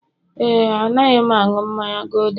ee, Anaghị m aṅụ mmanya gulder